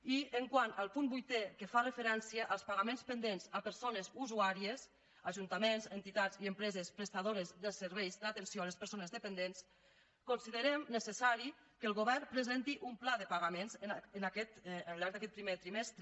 i quant al punt vuitè que fa referència als pagaments pendents a persones usuàries ajuntaments entitats i empreses prestadores de serveis d’atenció a les persones dependents considerem necessari que el govern presenti un pla de pagaments al llarg d’aquest primer trimestre